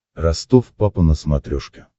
ростов папа на смотрешке